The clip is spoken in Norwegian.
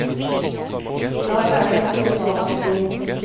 I dag er det et globalt syn.